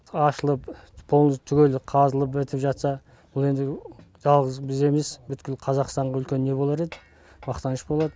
ашылып түгел қазылып бітіп жатса бұл енді жалғыз біз емес бүткіл қазақстанға үлкен не болар еді мақтаныш болады